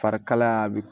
Fari kalaya bi